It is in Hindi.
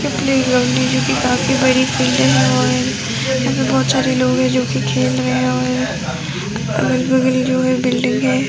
ये प्लेग्राउंड है जो की काफी बड़ी फील्ड है और यहाँ पे बहोत सारे लोग है जो कि खेल रहें हैं और अगल बगल जो है बिल्डिंग है।